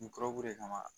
kama